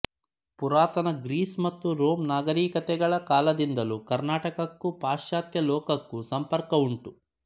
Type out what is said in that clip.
ಪುರಾತನ ಗ್ರೀಸ್ ಮತ್ತು ರೋಂ ನಾಗರಿಕತೆಗಳ ಕಾಲದಿಂದಲೂ ಕರ್ಣಾಟಕಕ್ಕೂ ಪಾಶ್ಚಾತ್ಯ ಲೋಕಕ್ಕೂ ಸಂಪರ್ಕವುಂಟು